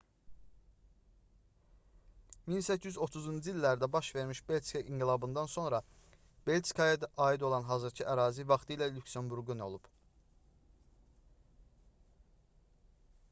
1830-cu illərdə baş vermiş belçika i̇nqilabından sonra belçikaya aid olan hazırkı ərazi vaxtilə lüksemburqun olub